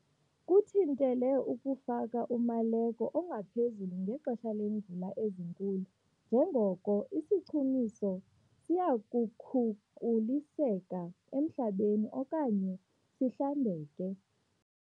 Kuthintele ukufaka umaleko ongaphezulu ngexesha leemvula ezinkulu njengoko isichumiso siya kukhukuliseka emhlabeni okanye sihlambeke.